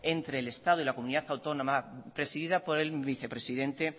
entre el estado y la comunidad autónoma presidida por el vicepresidente